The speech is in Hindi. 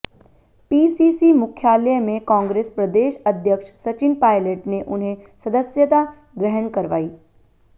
पीसीसी मुख्यालय में कांग्रेस प्रदेश अध्यक्ष सचिन पायलट ने उन्हें सदस्यता ग्रहण करवाई